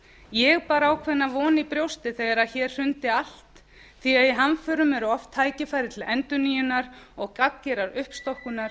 ég bar ákveðna von í brjósti þegar hér hrundi allt því að í hamförum eru oft tækifæri til endurnýjunar og gagngerrar uppstokkunar